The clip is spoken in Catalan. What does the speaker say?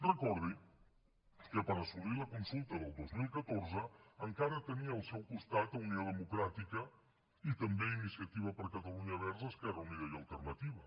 recordi que per assolir la consulta del dos mil catorze encara tenia al seu costat unió democràtica i també iniciativa per catalunya verds esquerra unida i alternativa